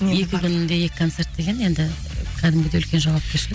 екі күнде екі концерт деген енді кәдімгідей үлкен жауапкершілік